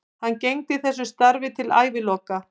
Hann gegndi þessu starfi til æviloka.